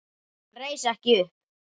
Hann reis ekki upp.